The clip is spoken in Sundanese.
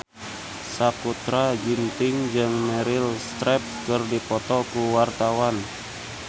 Sakutra Ginting jeung Meryl Streep keur dipoto ku wartawan